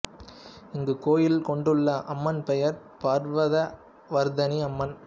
இங்கு கோயில் கொண்டுள்ள அம்மன் பெயர் பர்வத வர்தனி அம்மன்